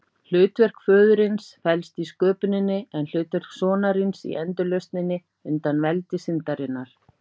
Hlutverk föðurins felst í sköpuninni, en hlutverk sonarins í endurlausninni undan veldi syndarinnar.